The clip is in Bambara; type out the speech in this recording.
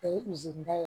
O ye ye